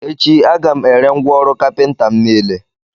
echi, Aga m ere ngwá ọrụ Kapịnta m nile